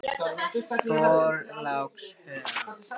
Þorlákshöfn